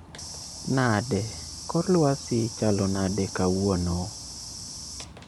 Nade? Kor lwasi chalo nade kawuono